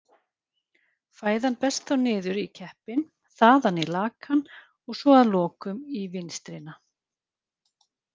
Fæðan berst þá niður í keppinn, þaðan í lakann og svo að lokum í vinstrina.